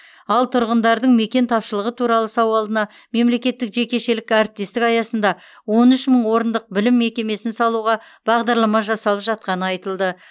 ал тұрғындардың мекен тапшылығы туралы сауалына мемлекеттік жекешелік әріптестік аясында он үш мың орындық білім мекемесін салуға бағдарлама жасалып жатқаны айтылды